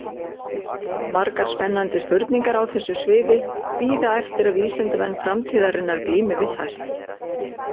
Margar spennandi spurningar á þessu sviði bíða eftir að vísindamenn framtíðarinnar glími við þær.